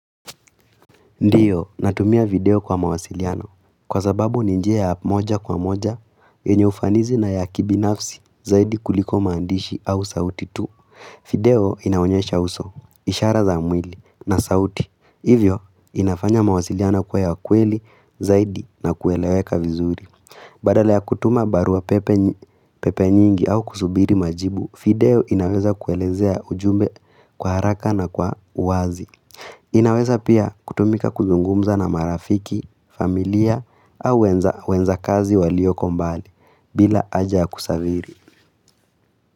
Ndiyo, natumia video kwa mawasiliano. Kwa sababu ninjia ya moja kwa moja, yenye ufanizi na ya kibi nafsi zaidi kuliko maandishi au sauti tu. Video inaonyesha uso, ishara za mwili na sauti. Hivyo, inafanya mawasiliano kua ya kweli zaidi na kueleweka vizuri. Badala ya kutuma barua pepe nyingi au kusubiri majibu, video inaweza kuelezea ujumbe kwa haraka na kwa wazi. Inaweza pia kutumika kuzungumza na marafiki, familia au wenza kazi walioko mbali bila aja kusaviri.